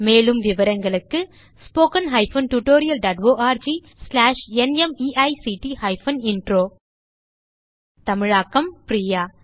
மேலும் விவரங்களுக்கு spoken hyphen tutorial dot org slash NMEICT hyphen intro தமிழாக்கம் பிரியா